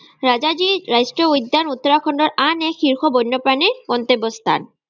ৰাজাজী ৰাষ্ট্ৰীয় উদ্যান উত্তৰাখণ্ডৰ আন এক শীৰ্ষৰ বন্যপ্ৰাণীৰ গন্তব্য স্থান।